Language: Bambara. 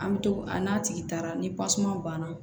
An bɛ to a n'a tigi taara ni tasuma banna